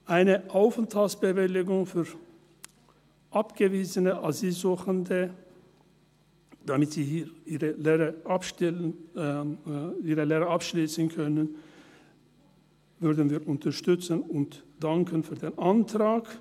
Eine Aufenthaltsbewilligung für abgewiesene Asylsuchende, damit sie ihre Lehre hier abschliessen können, würden wir unterstützen und danken für den Antrag.